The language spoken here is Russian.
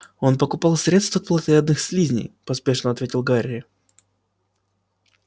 он покупал средство от плотоядных слизней поспешно ответил гарри